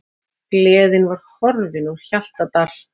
Gleðin var horfin úr Hjaltadal.